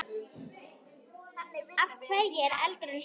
Af hverju er eldur heitur?